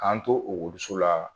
K'an to okɔliso la